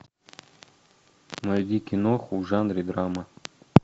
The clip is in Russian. найди киноху в жанре драма